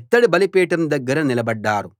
ఇత్తడి బలిపీఠం దగ్గర నిలబడ్డారు